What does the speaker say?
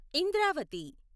Indravati